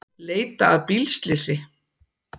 Leita að bílslysi